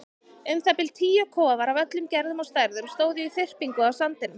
Um það bil tíu kofar af öllum gerðum og stærðum stóðu í þyrpingu á sandinum.